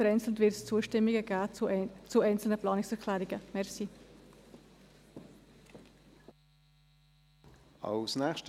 vereinzelt wird es Zustimmungen zu einzelnen Planungserklärungen geben.